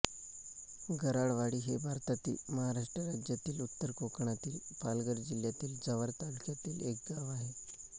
गराडवाडी हे भारतातील महाराष्ट्र राज्यातील उत्तर कोकणातील पालघर जिल्ह्यातील जव्हार तालुक्यातील एक गाव आहे